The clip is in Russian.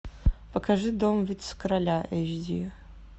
покажи дом вице короля эйч ди